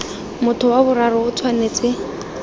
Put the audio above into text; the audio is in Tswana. motho wa boraro o tshwanetse